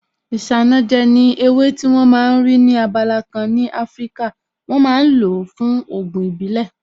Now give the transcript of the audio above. Isanaje ni ewé tí wón ma ń rí ní abala kan ní Afíríkà, wọ́n ma ń lo fún Ògùn ìbílẹ̀